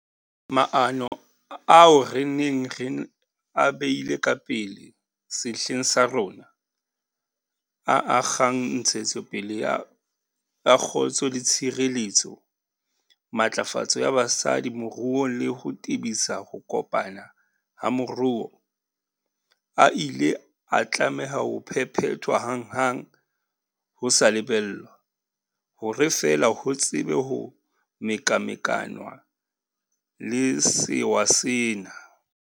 Maano ao re neng re a beile ka pele sehleng sa rona, a akgang ntshetsopele ya kgotso le tshireletso, matlafatso ya basadi moruong le ho tebisa ho kopana ha moruo, a ile a tlameha ho phephethwa hanghang ho sa lebellwa, hore fela ho tsebe ho mekamekanwa le sewa sena.